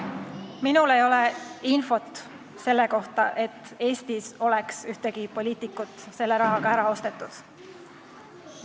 Minul ei ole infot selle kohta, et Eestis oleks mõni poliitik selle rahaga ära ostetud.